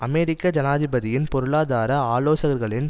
அமெரிக்க ஜனாதிபதியின் பொருளாதார ஆலோசகர்களின்